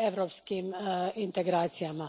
europskim integracijama.